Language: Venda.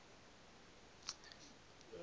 vhura